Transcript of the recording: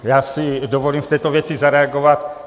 Já si dovolím v této věci zareagovat.